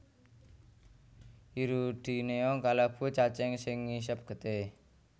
Hirudinea kalebu cacing sing ngisep getih